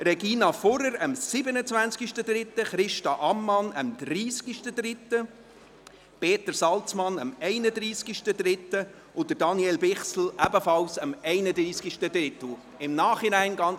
Regina Fuhrer hatte am 27. März, Christa Ammann am 30. März, Peter Salzmann am 31. März und Daniel Bichsel ebenfalls am 31. März Geburtstag.